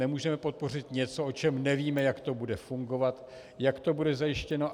Nemůžeme podpořit něco, o čem nevíme, jak to bude fungovat, jak to bude zajištěno.